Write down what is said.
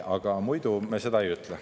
Aga muidu ma seda ei ütle.